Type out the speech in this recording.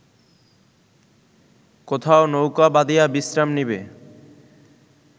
কোথাও নৌকা বাঁধিয়া বিশ্রাম নিবে